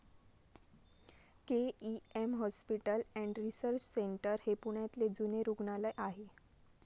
K E M hospital and research centre हे पुण्यातले जुने रुग्णालय आहे.